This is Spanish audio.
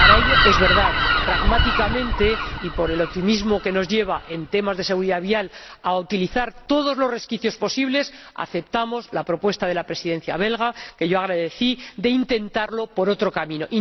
Para ello, es verdad, pragmáticamente, y por el optimismo que nos lleva, en temas de seguridad vial, a utilizar todos los resquicios posibles, aceptamos la propuesta de la Presidencia belga que yo agradecí de intentarlo por otro camino.